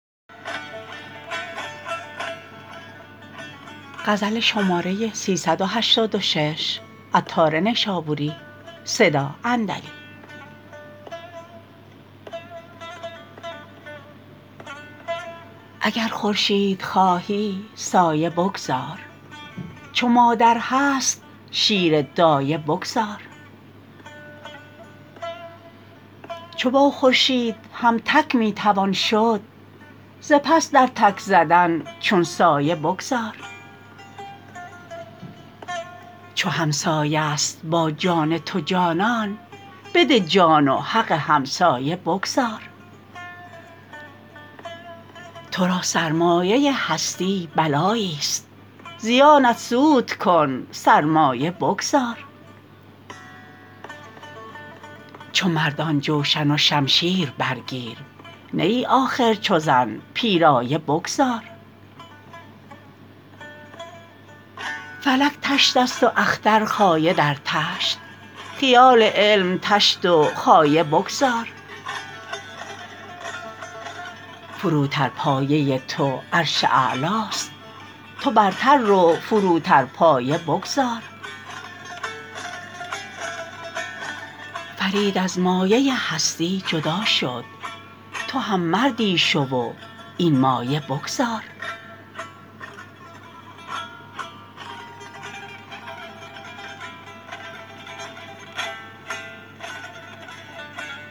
اگر خورشید خواهی سایه بگذار چو مادر هست شیر دایه بگذار چو با خورشید هم تک می توان شد ز پس در تک زدن چون سایه بگذار چو همسایه است با جان تو جانان بده جان و حق همسایه بگذار تو را سرمایه هستی بلایی است زیانت سود کن سرمایه بگذار چو مردان جوشن و شمشیر برگیر نه ای آخر چو زن پیرایه بگذار فلک طشت است و اختر خایه در طشت خیال علم طشت و خایه بگذار فروتر پایه تو عرش اعلاست تو برتر رو فروتر پایه بگذار فرید از مایه هستی جدا شد تو هم مردی شو و این مایه بگذار